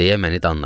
deyə məni danladı.